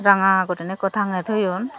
ranga gurine ekko tange toyon.